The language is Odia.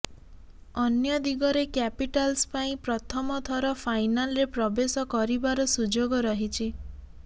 ଅନ୍ୟ ଦିଗରେ କ୍ୟାପିଟାଲ୍ସ ପାଇଁ ପ୍ରଥମ ଥର ଫାଇନାଲ୍ରେ ପ୍ରବେଶ କରିବାର ସୁଯୋଗ ରହିଛି